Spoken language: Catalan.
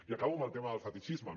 i acabo amb el tema del fetitxisme